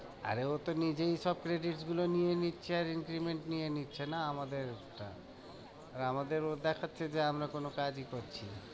আরে ও তো নিজেই সব credit গুলো নিয়ে নিচ্ছে, আর increment নিয়ে নিচ্ছে না আমাদেরটা, আর আমাদের ও দেখাচ্ছে যে আমরা কোনো কাজই করছি না।